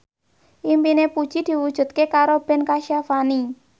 impine Puji diwujudke karo Ben Kasyafani